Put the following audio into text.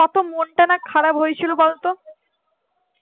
কোনটা না খারাপ হয়েছিল বলতো